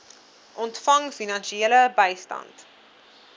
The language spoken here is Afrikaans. ontvang finansiële bystand